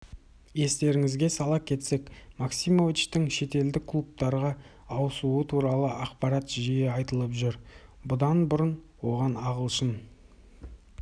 естеріңізге сала кетсек максимовичтің шетелдік клубтарға ауысуы туралы ақпарат жиі айтылып жүр бұдан бұрын оған ағылшын